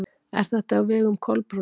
Er þetta á vegum Kolbrúnar?